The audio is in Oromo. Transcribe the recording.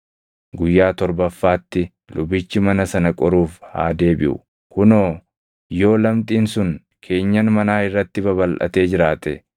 Guyyaa torbaffaatti lubichi mana sana qoruuf haa deebiʼu. Kunoo yoo lamxiin sun keenyan manaa irratti babalʼatee jiraate,